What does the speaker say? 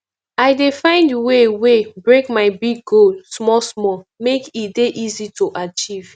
i dey find way way break my big goal smallsmall make e dey easy to achieve